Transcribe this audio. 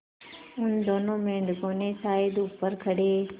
उन दोनों मेढकों ने शायद ऊपर खड़े